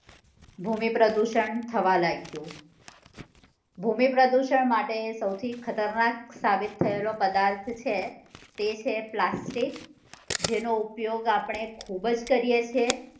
ભૂમિ પ્રદુષણ થવા લાગ્યું ભૂમિ પ્રદુષણ માટે સોઉથી ખતરનાક સાબિત થયેલો પદાર્થ છે તે છે પ્લાસ્ટિક જેનો ઉપયોગ આપડે ખુબ જ કરીએ છે